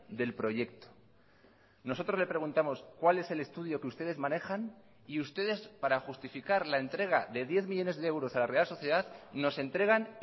del proyecto nosotros le preguntamos cuál es el estudio que ustedes manejan y ustedes para justificar la entrega de diez millónes de euros a la real sociedad nos entregan